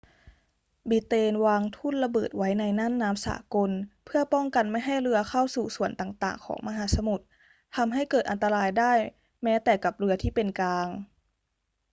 บริเตนวางทุ่นระเบิดไว้ในน่านน้ำสากลเพื่อป้องกันไม่ให้เรือเข้าสู่ส่วนต่างๆ ของมหาสมุทร ทำให้เกิดอันตรายได้แม้แต่กับเรือที่เป็นกลาง